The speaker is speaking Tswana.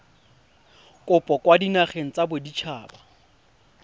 kopo kwa dinageng tsa baditshaba